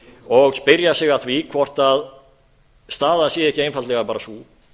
og spyrja sig að því hvort staðan sé ekki einfaldlega bara sú